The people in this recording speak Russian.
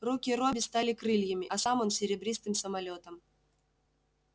руки робби стали крыльями а сам он серебристым самолётом